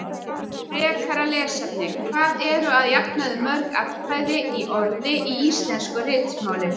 Frekara lesefni: Hvað eru að jafnaði mörg atkvæði í orði í íslensku ritmáli?